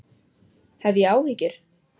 Hef ég áhyggjur?